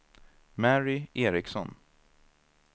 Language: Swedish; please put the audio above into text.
Mary Eriksson